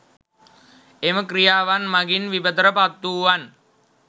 එම ක්‍රියාවන් මගින් විපතට පත් වූවන්